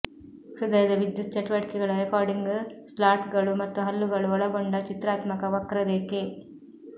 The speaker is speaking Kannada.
ಹೃದಯದ ವಿದ್ಯುತ್ ಚಟುವಟಿಕೆಗಳ ರೆಕಾರ್ಡಿಂಗ್ ಸ್ಲಾಟ್ಗಳು ಮತ್ತು ಹಲ್ಲುಗಳು ಒಳಗೊಂಡ ಚಿತ್ರಾತ್ಮಕ ವಕ್ರರೇಖೆ